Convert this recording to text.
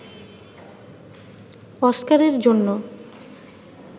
অস্কারের জন্য